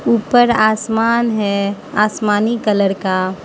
ऊपर आसमान है आसमानी कलर का।